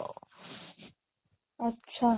ଆଚ୍ଛା